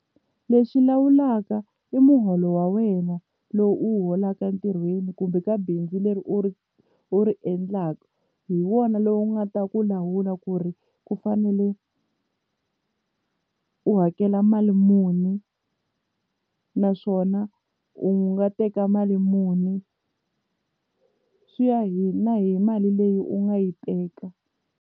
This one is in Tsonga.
Lexi lawulaka i muholo wa wena lowu u wu holaka entirhweni kumbe ka bindzu leri u ri u ri endlaka hi wona lowu nga ta ku lawula ku ri ku fanele u hakela mali muni naswona u nga teka mali muni swi ya hi na hi mali leyi u nga yi teka.